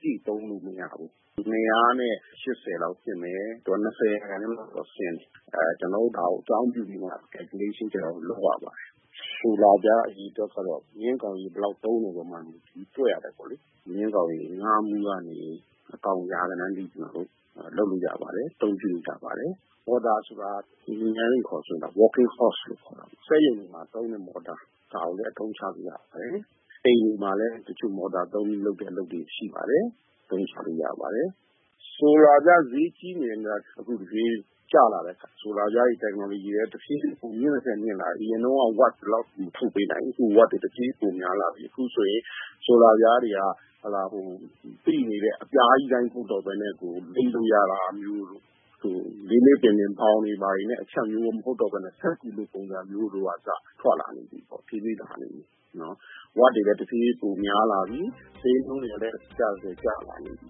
ပြည့် သုံးလို့မရဘူး။ ၂၈၀ လောက်ဖြစ်မယ်။ သူက ၂၀ % လောက်တော့ ဆင်းတယ်။ ဆိုတော့ ကျနော်တို့က ဒါကို အကြောင်းပြုပြီးတော့ တွက်ချက်ရပါတယ်။ ဆိုလာပြား အရေအတွက်က မြင်းကောင်ရေအား ဘယ်လောက် သုံးမလဲ ဆိုတာပေါ် မူတည်ပြီး တွက်ရပါတယ်။ မြင်းကောင်ရေ ငါးမူးကနေ အကောင်ရေ ရာဂဏန်းအထိ ကျနော်တို့ လုပ်လို့ရပါတယ်။ အသုံးပြုလို့ ရပါတယ်။ နောက် မော်တာ။ မော်တာက ကျနော်တို့ အင်ဂျင်နီယာ အခေါ်နဲ့ဆို working horse ပေါ့လေ။ ဒီမော်တာက စက်ရုံတွေမှာ သုံးတဲ့မော်တာ၊ ဒါကိုလည်း အသုံးချလို့ ရပါတယ်။ အိမ်တွေမှာလည်း တချို့ မော်တာသုံးပြီး လုပ်တဲ့ အလုပ်တွေရှိပါတယ်။ အသုံးချလို့ ရပါတယ်။ ဆိုလာပြား ဈေးကြီးတယ် ဆိုပေမယ့် အခု ဆိုလာပြားဈေးက ကျလာပြီ။ ဆိုလာပြား Technology နည်းပညာကလည်း တဖြေးဖြေး မြင့်သထက် မြင့်လာပြီ။ အရင်တုန်းက Watt ဒီလောက် ထုတ်မပေးနိုင်ဘူး အခု ဝပ် တော်တော် ထုတ်ပေးနိုင်လာပြီ။ အခုဆိုရင် ဆိုလာပြားတွေက သိနေတဲ့ အပြားကြီး အတိုင်းမဟုတ်တော့ပဲနဲ့ လိပ်လို့ ရတာမျိုးတို့၊ နောက် လေးလေးပင်ပင် ဘောင်တွေ ဘာတွေနဲ့ အချပ်မျိုး မဟုတ်တော့ပဲနဲ့ စက္ကူလို ပုံစံမျိုး ကအစ ထွက်လာနေပြီပေါ့။ တဖြေးဖြေး လာနေပြီ။ နောက် ဝပ်တွေလည်း တဖြေးဖြေး ပိုများလာနေပြီး ဈေးနှုန်းတွေကလည်း ကျသထက် ကျလာနေပြီ